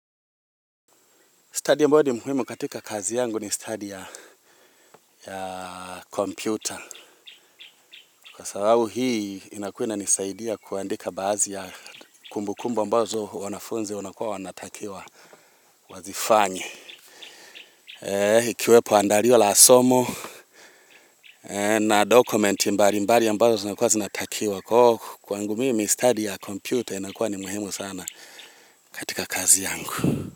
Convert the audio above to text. Stadi ambayo ni muhimu katika kazi yangu ni stadi ya kompyuta kwa sababu hii inakua inanisaidia kuandika baadhi ya kumbukumbu ambazo wanafunzi wanakua wanatakiwa wazifanye ikiwepo andalio la somo na dokumenti mbalimbali ambazo zinakua zinatakiwa kwangu mimi stadi ya kompyuta inakua ni muhimu sana katika kazi yangu.